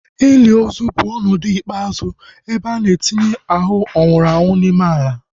Ili ozu bụ ọnọdụ ikpeazụ ebe a na-etinye ahu nwụrụ anwụ n'ime ala